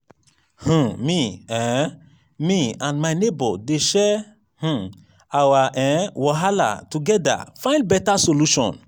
um me um me and my nebor dey share um our um wahala togeda find beta solution.